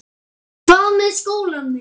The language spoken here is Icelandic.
Hvað með skólann minn?